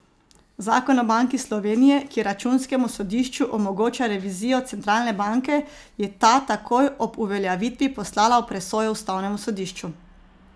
Zakon o Banki Slovenije, ki računskemu sodišču omogoča revizijo centralne banke, je ta takoj ob uveljavitvi poslala v presojo ustavnemu sodišču.